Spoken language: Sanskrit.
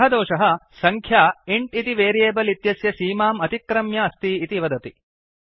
सः दोषः सङ्ख्या इन्ट् इति वेरियेबल् इत्यस्य सीमां अतिक्रम्य अस्ति इति वदति